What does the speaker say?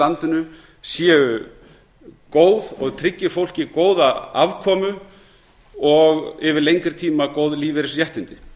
landinu séu góð og tryggi fólki góða afkomu og yfir lengri tíma góð lífeyrisréttindi